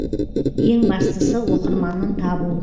ең бастысы оқырманын табу